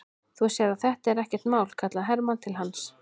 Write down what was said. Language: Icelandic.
Þú sérð að þetta er ekkert mál, kallaði Hermann til hans.